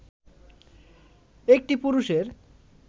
একটি পুরুষের